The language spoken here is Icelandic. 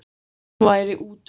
Hvað hún væri útundan.